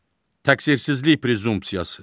Təqsirsizlik prezumpsiyası.